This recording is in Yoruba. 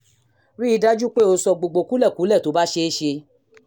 rí i dájú pé o sọ gbogbo kúlẹ̀kúlẹ̀ tó bá ṣeé ṣe